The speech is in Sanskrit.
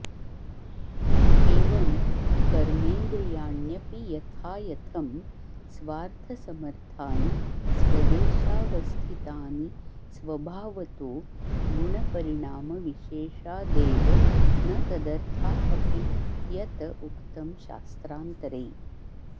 एवं कर्मेन्द्रियाण्यपि यथायथं स्वार्थसमर्थानि स्वदेशावस्थितानि स्वभावतो गुणपरिणामविशेषादेव न तदर्था अपि यत उक्तं शास्त्रान्तरे